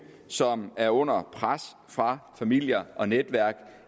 som er under pres fra familie og netværk